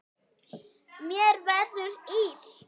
Mér verður illt.